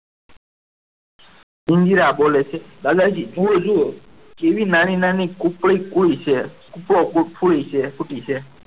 ઇન્દિરા બોલે છે દાદાજી જુઓ કેવી નાની નાની કુકડી કોઈ છે ફૂટી છે.